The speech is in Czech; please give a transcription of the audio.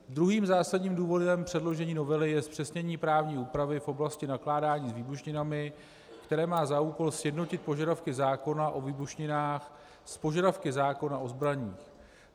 Druhým zásadním důvodem předložení novely je zpřesnění právní úpravy v oblasti nakládání s výbušninami, které má za úkol sjednotit požadavky zákona o výbušninách s požadavky zákona o zbraních.